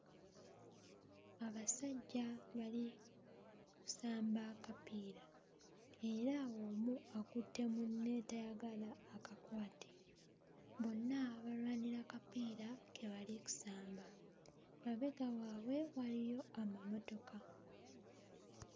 Abasajja bali kusamba akapiira era omu akutte munne tayagala akakwate bonna balwanira kapiira ke bali kusamba mabega waabwe waliyo amamotoka.